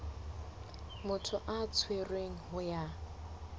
motho a tshwerweng ho yona